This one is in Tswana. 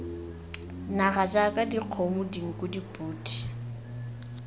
naga jaaka dikgomo dinku dipodi